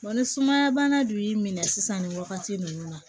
ni sumaya bana dun y'i minɛ sisan nin wagati ninnu na